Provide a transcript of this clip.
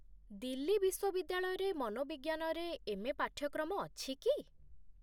ଦିଲ୍ଲୀ ବିଶ୍ୱବିଦ୍ୟାଳୟରେ ମନୋବିଜ୍ଞାନରେ ଏମ୍.ଏ. ପାଠ୍ୟକ୍ରମ ଅଛି କି?